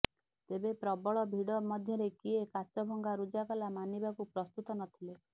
ତେବେ ପ୍ରବଳ ଭିଡ ମଧ୍ୟରେ କିଏ କାଚ ଭଙ୍ଗା ରୁଜା କଲା ମାନିବାକୁ ପ୍ରସ୍ତୁତ ନଥିଲେ